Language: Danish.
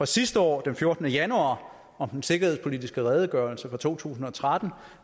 sidste år den fjortende januar om den sikkerhedspolitiske redegørelse for to tusind og tretten